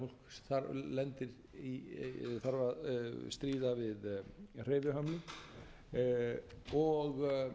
fólk lendir í eða þarf að stríða við hreyfihömlun og